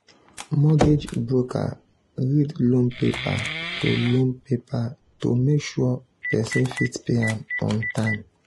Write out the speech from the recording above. mortgage broker read loan paper to loan paper to make sure person fit pay am on time.